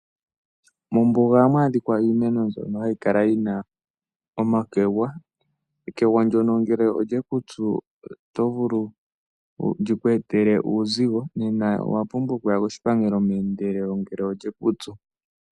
Mombuga ohamu adhika iimeno mbyono hayi kala yina omakegwa. Ekegwa ndyono ngele olyeku tsu otali vulu liku etele uuzigo, onkene owa pumbwa okuya koshipangelo ngele lyeku tsu.